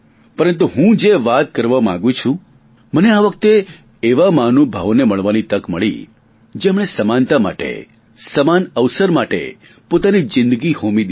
પરંતુ હું જે વાત કરવા માગું છું મને આ વખતે એવા મહાનુભાવોને મળવાની તક મળી જેમણે સમાનતા માટે સમાન અવસર માટે પોતાની જીંદગી હોમી દીધી